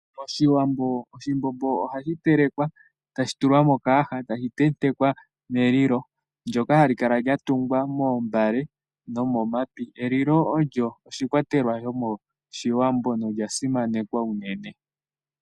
MOshiwambo oshimbombo ohashi telekwa tashi tulwa mokayaha tashi tentekwa melilo ndyoka hali kala lya tungwa moombale nomomapi. Elilo ondyo oshikwatelwa shomOshiwambo nolya simanekwa unene.